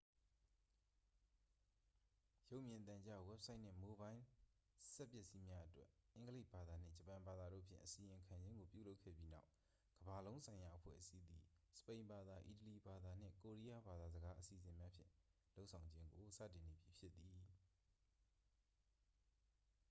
"""ရုပ်မြင်သံကြား၊ ဝဘ်ဆိုက်နှင့် မိုဘိုင်းလ်စက်ပစ္စည်းများအတွက် အင်္ဂလိပ်ဘာသာနှင့် ဂျပန်ဘာသာတို့ဖြင့် အစီရင်ခံခြင်းကို ပြုလုပ်ခဲ့ပြီးနောက်ကမ္ဘာ့လုံးဆိုင်ရာအဖွဲ့အစည်းသည် စပိန်ဘာသာ၊ အီတလီဘာသာနှင့် ကိုရီယားဘာသာစကား အစီအစဉ်များဖြင့် လုပ်ဆောင်ခြင်းကို စတင်နေပြီဖြစ်သည်။""